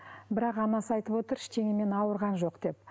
бірақ анасы айтып отыр ештеңемен ауырған жоқ деп